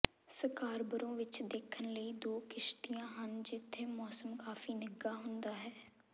Scarborough ਵਿਚ ਦੇਖਣ ਲਈ ਦੋ ਕਿਸ਼ਤੀਆਂ ਹਨ ਜਿੱਥੇ ਮੌਸਮ ਕਾਫੀ ਨਿੱਘਾ ਹੁੰਦਾ ਹੈ